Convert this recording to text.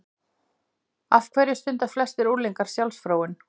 Af hverju stunda flestir unglingar sjálfsfróun?